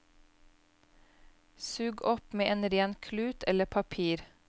Sug opp med en ren klut eller papir.